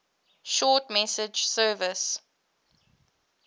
short message service